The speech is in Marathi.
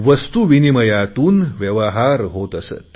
वस्तूविनिमयातून व्यवहार होत असत